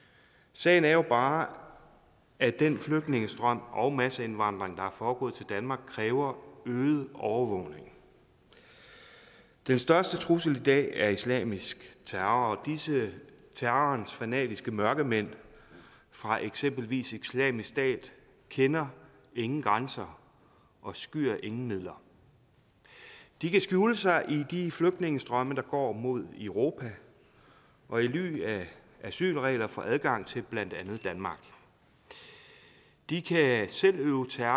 sagen er jo bare at den flygtningestrøm og masseindvandring der er foregået til danmark kræver øget overvågning den største trussel i dag er islamisk terror og disse terrorens fanatiske mørkemænd fra eksempelvis islamisk stat kender ingen grænser og skyr ingen midler de kan skjule sig i de flygtningestrømme der går mod europa og i ly af asylregler få adgang til blandt andet danmark de kan selv øve terror